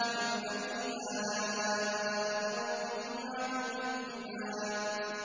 فَبِأَيِّ آلَاءِ رَبِّكُمَا تُكَذِّبَانِ